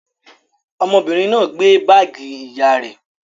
Ọmọbìnrin náà gbé báágì ìyá rẹ̀?